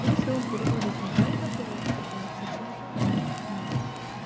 если он переводит неправильно то тогда зачем же он у нас